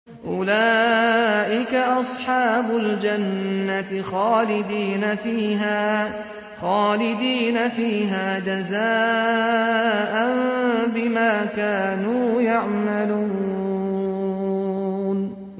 أُولَٰئِكَ أَصْحَابُ الْجَنَّةِ خَالِدِينَ فِيهَا جَزَاءً بِمَا كَانُوا يَعْمَلُونَ